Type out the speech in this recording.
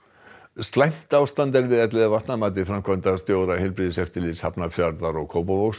slæmt ástand er við Elliðavatn að mati framkvæmdastjóra heilbrigðiseftirlits Hafnarfjarðar og Kópavogs